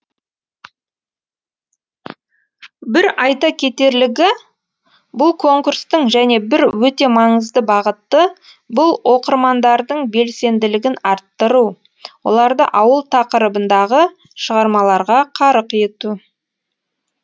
бір айта кетерлігі бұл конкурстың және бір өте маңызды бағыты бұл оқырмандардың белсенділігін арттыру оларды ауыл тақырыбындағы шығармаларға қарық ету